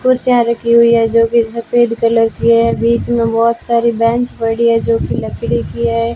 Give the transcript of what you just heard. कुर्सियां रखी हुई है जो कि सफेद कलर की है बीच में बहुत सारी बेंच पड़ी है जो कि लकड़ी की है।